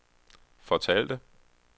fortalte